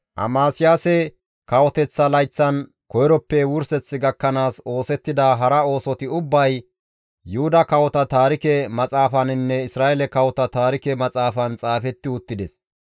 Amasiyaase kawoteththa layththan koyroppe wurseth gakkanaas oosettida hara oosoti ubbay Yuhuda kawota taarike maxaafaninne Isra7eele kawota taarike maxaafan xaafetti uttides.